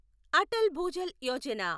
Atal Bhujal Yojana